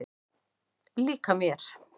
Líka mér.